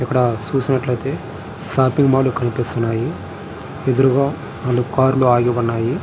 ఇక్కడ చూసినట్లు అయితే షాపింగ్ మాల్ లు కనిపిస్తున్నాయి. ఎదురుగా నాలుగు కార్ లు ఆగి ఉన్నాయి.